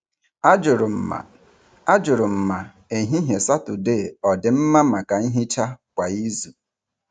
Ajụrụ m ma Ajụrụ m ma ehihie Saturday ọ dị mma maka nhicha kwa izu.